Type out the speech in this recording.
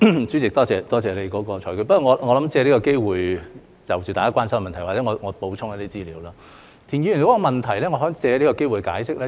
主席，多謝你的裁決，但我想借此機會就大家關心的問題補充一些資料。關於田議員的提問，我可以借此機會解釋。